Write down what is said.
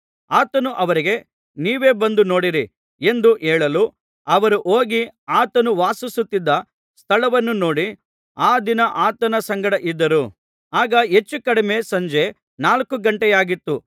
ಆತನು ಅವರಿಗೆ ನೀವೇ ಬಂದು ನೋಡಿರಿ ಎಂದು ಹೇಳಲು ಅವರು ಹೋಗಿ ಆತನು ವಾಸಿಸುತ್ತಿದ್ದ ಸ್ಥಳವನ್ನು ನೋಡಿ ಆ ದಿನ ಆತನ ಸಂಗಡ ಇದ್ದರು ಆಗ ಹೆಚ್ಚುಕಡಿಮೆ ಸಂಜೆ ನಾಲ್ಕು ಗಂಟೆಯಾಗಿತ್ತು